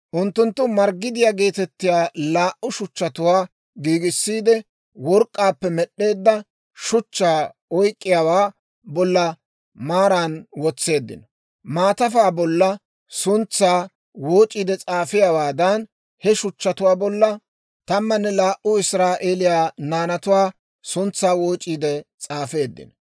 Unttunttu marggidiyaa geetettiyaa laa"u shuchchatuwaa giigissiide, work'k'aappe med'd'eedda shuchchaa oyk'k'iyaawaa bolla maarana wotseeddino. Maatafaa bolla suntsaa wooc'iide s'aafiyaawaadan, he shuchchatuwaa bolla tamanne laa"u Israa'eeliyaa naanatuwaa suntsaa wooc'iide s'aafeeddino.